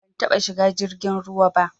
Ban taba shiga jirgin ruwa ba